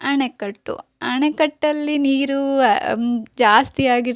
ಆಣೆಕಟ್ಟು ಅಣೆಕಟ್ಟಲ್ಲಿ ನೀರು ಹ್ಮ್ ಆ ಜಾಸ್ತಿ ಆಗಿರ್ತ --